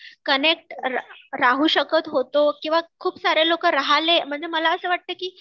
connect राहू शकत होतो किंवा खूप सारे लोकं राहले म्हणजे मला असं वाटतं की